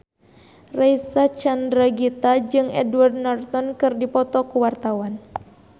Reysa Chandragitta jeung Edward Norton keur dipoto ku wartawan